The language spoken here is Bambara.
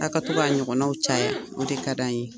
A ka to k'a ɲɔgɔnaw caya, o de ka di an ye.